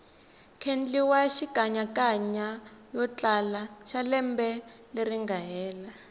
kendliwa xikanyakanya yotlala xalembe leringa hela